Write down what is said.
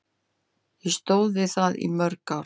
Ég stóð við það í mörg ár.